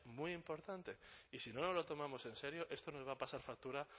muy importante y si no nos lo tomamos en serio esto nos va a pasar factura